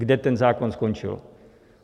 Kde ten zákon skončil?